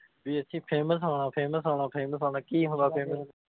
ਵੀ ਅਸੀਂ famous ਹੋਣਾ famous ਹੋਣਾ famous ਹੋਣਾ, ਕੀ ਹੁੰਦਾ famous